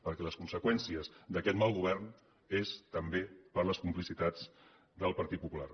perquè les conseqüències d’aquest mal govern són també per les complicitats del partit popular